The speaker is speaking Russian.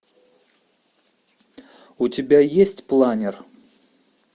у тебя есть планер